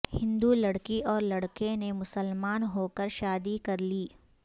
ہندو لڑکی اور لڑکے نے مسلمان ہو کر شادی کر لی